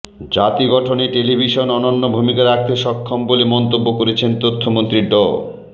জাতি গঠনে টেলিভিশন অনন্য ভূমিকা রাখতে সক্ষম বলে মন্তব্য করেছেন তথ্যমন্ত্রী ড